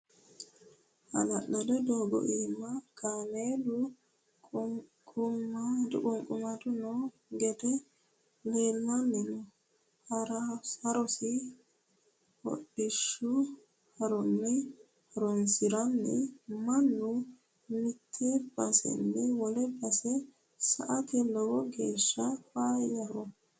Hala'lado doogo iima kaameelu ququmadu no gede leellanni nooe horosi hodhishshaho horonsi'naniho mannu mite baseni wole base sa"ate lowo geeshsha faayyaho.